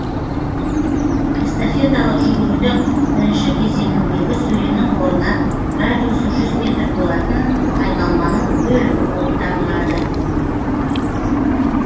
эстафеталық жүгірудің бірінші кезеңіндегі сөренің орны радиусы жүз метр болатын айналманың бөлігі болып табылады